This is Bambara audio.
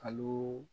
Kal